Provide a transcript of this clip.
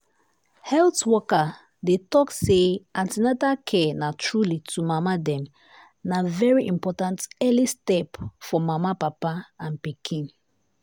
health worker dey talk say an ten atal care na truly to mama dem na very important early step for mama papa and pikin.